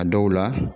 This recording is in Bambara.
A dɔw la